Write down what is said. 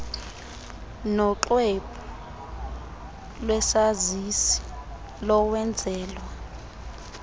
noxwebhu lwesazisi lowenzelwa